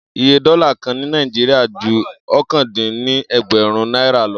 Iye dólà kan ní Naijiria ju okòó dín ní ẹgbẹ̀rún náírà